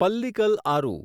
Pallikal Aru